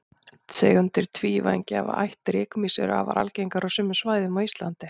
tegundir tvívængja af ætt rykmýs eru afar algengar á sumum svæðum á íslandi